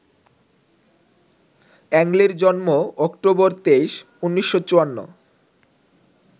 Ang লির জন্ম October ২৩, ১৯৫৪